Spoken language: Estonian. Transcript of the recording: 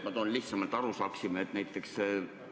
Ma toon lihtsa näite, et oleks arusaadav.